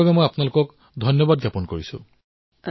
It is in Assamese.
সেইবাবেও মই আপোনালোকক অভিনন্দন জনাইছো